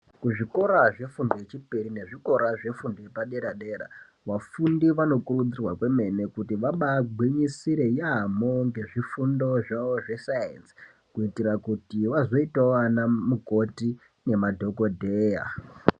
Kuzvikora zvefundo yechipiri nekuzvikora zvefundo yepadera dera vafundi vanokurudzirwa kwemene kuti vabagwinyisire yambo ngezvifundo zvavo zve sayenzi kuitira kuti vazoitawo ana mukoti nemadhokodheya.